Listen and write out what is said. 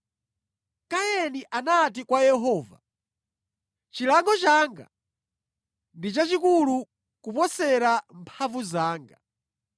Kaini anati kwa Yehova, “Chilango changa ndi chachikulu kuposera mphamvu zanga.